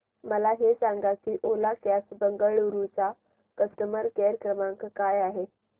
मला हे सांग की ओला कॅब्स बंगळुरू चा कस्टमर केअर क्रमांक काय आहे